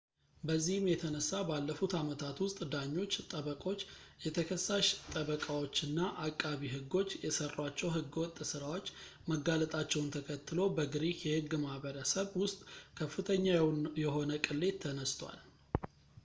በዚህም የተነሳ ባለፉት አመታት ውስጥ ዳኞች ጠበቆች የተከሳሽ ጠበቃዎችና አቃቢ ሕጎች የሰሯቸው ሕገወጥ ስራዎች መጋለጣቸውን ተከትሎ በግሪክ የሕግ ማሕበረሰብ ውስጥ ከፍተኛ የሆነ ቅሌት ተነስቷል